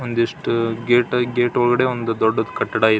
ಒಂದಿಷ್ಟು gate gate ಒಳಗಡೆ ಒಂದು ದೊಡ್ಡ ಕಟ್ಟಡ ಐತೆ.